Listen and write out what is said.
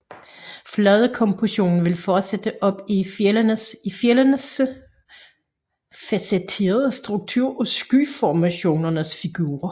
Fladekompositionen fortsætter op i fjeldenes facetterede struktur og skyformationernes figurer